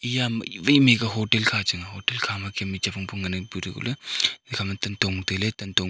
iya mei wai mei kya hotel kha chang a hotel kha ma kem a chem phang phang ngan pu thaikoh ley tan tong tailey tantong--